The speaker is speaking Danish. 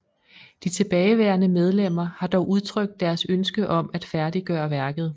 De tilbageværende medlemmer har dog udtrykt deres ønske om at færdiggøre værket